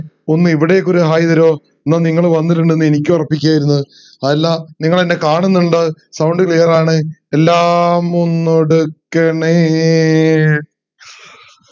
ഒന്ന് ഇവിടെക്കൊരു ഹായ് തരുഓ എന്നാ നിങ്ങൾ വന്നിറ്റിണ്ട്ന്ന് എനിക്ക് ഒറപ്പിക്കയർന്ന് അതല്ല നിങ്ങൾ ആന്നെ കാണുന്ന്ണ്ട് sound clear ആണ് എല്ലാം ഒന്ന് ഒടുക്കണേ